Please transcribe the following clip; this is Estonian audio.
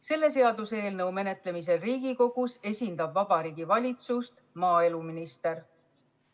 Selle seaduseelnõu menetlemisel Riigikogus esindab Vabariigi Valitsust maaeluminister.